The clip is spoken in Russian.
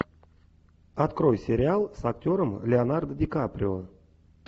открой сериал с актером леонардо ди каприо